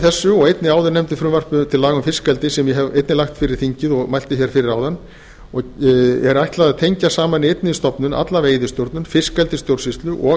þessu og einnig áðurnefndu frumvarpi til laga um fiskeldi sem ég hef einnig lagt fyrir þingið og gert grein fyrir hér að framan er ætlað að tengja saman í einni stofnun alla veiðistjórnun fiskeldisstjórnsýslu og